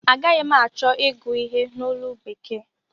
Agaghi m achọ ịgụ ihe a n'olu bekee